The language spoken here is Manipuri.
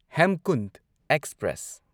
ꯍꯦꯝꯀꯨꯟꯠ ꯑꯦꯛꯁꯄ꯭ꯔꯦꯁ